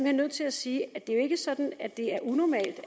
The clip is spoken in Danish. nødt til at sige at det er sådan at det er unormalt